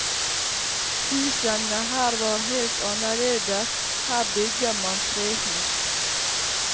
Husene her var helt annerledes, her bygger man trehus.